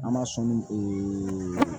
An b'a sɔn min ee